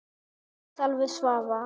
Kveðja Salvör Svava.